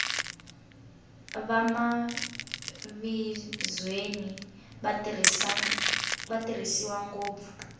vamavizweni va tirhisiwa ngopfu